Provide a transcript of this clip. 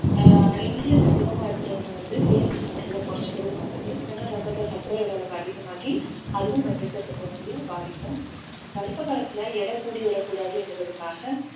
ஆஹ் insulin அதிகமா இருக்கிறவங்க வந்து தேன் சாப்பிடறதை குறைச்சுக்கறது நல்லது இல்லைனா ரத்தத்துல சர்க்கரையோட அளவு அதிகமாகி அதுவும் குழந்தையை பாதிக்கும் கர்ப்ப காலத்துல எடை கூடி விடக்கூடாதுன்றதுக்காக